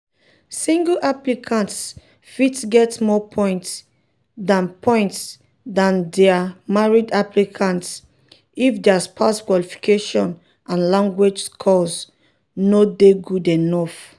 single applicants fit get more points dan points dan dia um married applicants if dia spouse qualifications and language scores um no dey good enough.